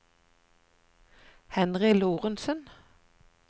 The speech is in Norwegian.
Henry Lorentzen